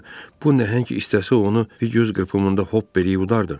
Axı bu nəhəng istəsə onu bir göz qırpımında hop eləyib udardı.